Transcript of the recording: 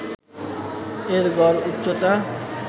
এর গড় উচ্চতা